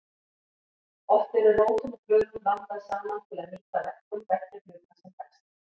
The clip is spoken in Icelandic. Oft eru rótum og blöðum blandað saman til að nýta verkun beggja hluta sem best.